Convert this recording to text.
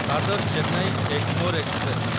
Dadar Chennai Egmore express